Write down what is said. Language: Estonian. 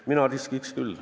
Mina riskiks küll.